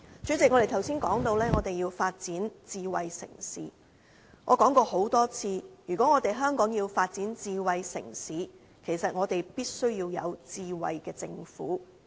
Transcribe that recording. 主席，我們剛才談到，我們要發展智慧城市，我說過多次，如果香港要發展智慧城市，其實我們必須要有智慧政府。